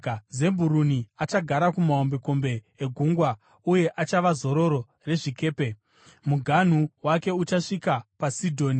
“Zebhuruni achagara kumahombekombe egungwa uye achava zororo rezvikepe; muganhu wake uchasvika paSidhoni.